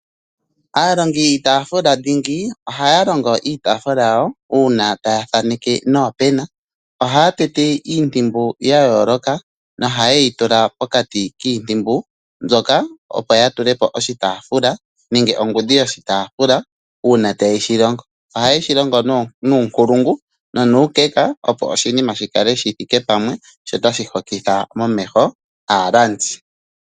Aalongi yiitafula dhingi, ohaya longo iitafula yawo uuna taya thaneke noopena, ohaya tete iintumbu ya yooloka noha yeyi tula pokati kiintimbu mbyoka opo ya tulepo oshitaafula nenge ongudhi yoshitaafula uuna ta yeshi longo. Oha yeshi longo nuunkulungu no nuukeka, opo oshinima shi kale shithi ike pamwe, sho otashi hokitha momeho aalandi.